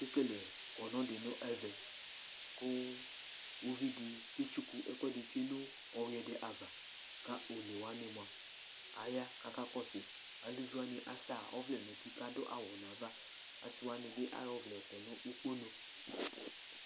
Akekele kɔnu di nu ɛvɛ, ku uvi di ketsuku ɛkʋɛdi tsʋe nu ɔwʋiɛ di ava, ka onewʋani mʋa aya ku aka kɔsʋi, eluvi wʋani asa ɔvlɛ nu uti ku adu awu nu ava ,asi wʋani bi asiwʋani bi ayɔ ɔvlɛ kɔ nu okponu